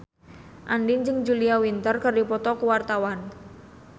Andien jeung Julia Winter keur dipoto ku wartawan